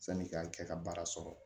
Sani i ka kɛ ka baara sɔrɔ